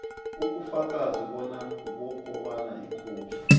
ubufakazi bokobana ikhophi